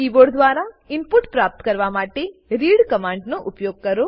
keyboard દ્વરા input પ્રાપ્ત કરવા માટે રીડ કમાંડ નો ઉપયોગ કરો